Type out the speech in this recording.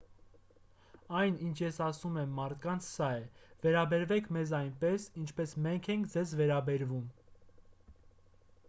այն ինչ ես ասում եմ մարդկանց սա է վերաբերվեք մեզ այնպես ինչպես մենք ենք ձեզ վերաբերվում